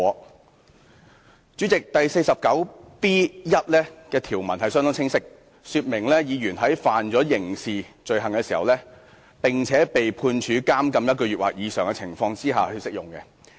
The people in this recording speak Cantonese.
"代理主席，《議事規則》第 49B1 條的條文相當清晰，說明議員在觸犯刑事罪行，並且被判處監禁1個月或以上的情況下才適用。